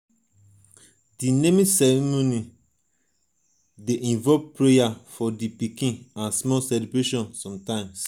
di naming di naming ceremoning dey involve prayers for di pikin and small celebration sometimes